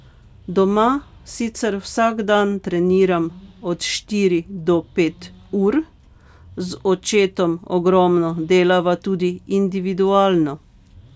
Doma sicer vsak dan treniram od štiri do pet ur, z očetom ogromno delava tudi individualno.